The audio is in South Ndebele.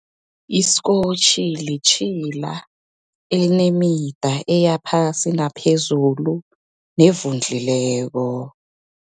Iskotjhi, litjhila elinemida eyaphasi, naphezulu, nevundlileko.